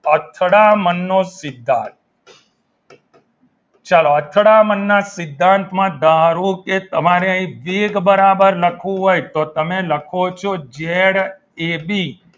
અથડામણ નો સિદ્ધાંત ચલો અથડામણના સિદ્ધાંત માં ધારો કે તમારે અહિયાં વેગ બરાબર લખવું હોય તો તમે લખો છો જેડ એબી